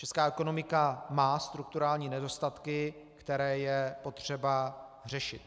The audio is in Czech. Česká ekonomika má strukturální nedostatky, které je potřeba řešit.